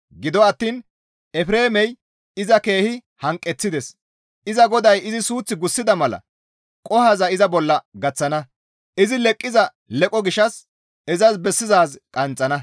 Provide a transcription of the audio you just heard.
Gido attiin Efreemey iza keehi hanqeththides; iza GODAY izi suuth gussida mala qohoza iza bolla gaththana; izi leqqiza leqoza gishshas izas bessizaaz qanxxana.